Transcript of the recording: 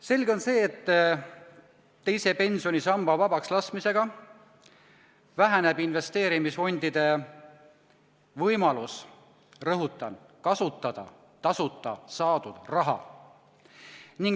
Selge on see, et teise pensionisamba vabakslaskmisega väheneb investeerimisfondide võimalus kasutada tasuta saadud raha.